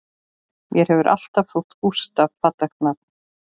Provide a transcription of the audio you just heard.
Mér hefur alltaf þótt Gústaf fallegt nafn